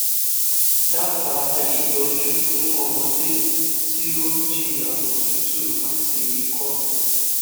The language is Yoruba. dábàá ìtọjú fún ọmọdé tí ó ń jìyà òtútù àti ìkọ